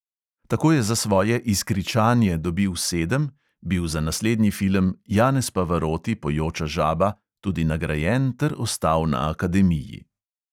Tako je za svoje "izkričanje" dobil sedem, bil za naslednji film "janez pavaroti: pojoča žaba" tudi nagrajen ter ostal na akademiji.